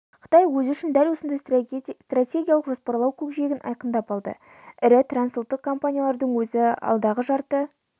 қытай өзі үшін дәл осындай стратегиялық жоспарлау көкжиегін айқындап алды ірі трансұлттық компаниялардың өзі алдағы жарты